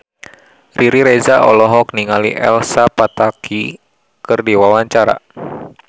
Riri Reza olohok ningali Elsa Pataky keur diwawancara